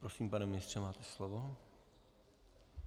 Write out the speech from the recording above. Prosím, pane ministře, máte slovo.